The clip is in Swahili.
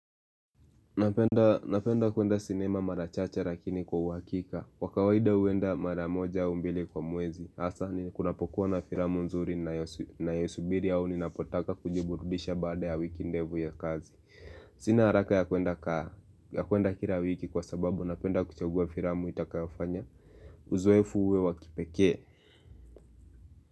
Napenda kwenda sinema marachache lakini kwa uwakika. Kwa kawaida uwenda maramoja au mbili kwa mwezi. Asa kunapokuwa na filamu nzuri niyosubiri au ninapotaka kujiburudisha baada ya wiki ndefu ya kazi. Sina haraka ya kwenda kila wiki kwa sababu napenda kuchagua filamu itakayofanya. Uzoefu uwe wa kipekee.